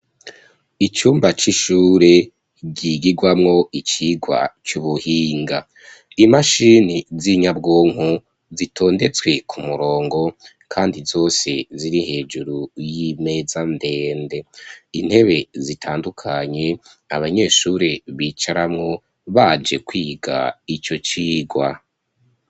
Icumba c'ishure ryigigwamwo icigwa c'ubuhinga ,imashini z'inyabwonko zitondetswe ku murongo kandi zose ziri hejuru y'imeza ndende ,intebe zitandukanye abanyeshure bicaramwo baje kwiga ico cigwa.